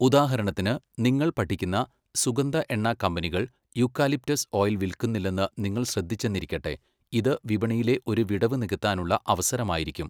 ഉദാഹരണത്തിന്, നിങ്ങൾ പഠിക്കുന്ന സുഗന്ധ എണ്ണ കമ്പനികൾ യൂക്കാലിപ്റ്റസ് ഓയിൽ വിൽക്കുന്നില്ലെന്ന് നിങ്ങൾ ശ്രദ്ധിച്ചെന്നിരിക്കട്ടെ, ഇത് വിപണിയിലെ ഒരു വിടവ് നികത്താനുള്ള അവസരമായിരിക്കും.